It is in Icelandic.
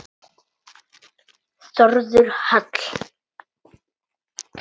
Þórður Hall.